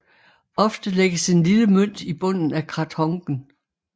Ofte lægges en lille mønt i bunden af krathongen